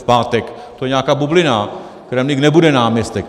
V pátek - to je nějaká bublina, Kremlík nebude náměstek.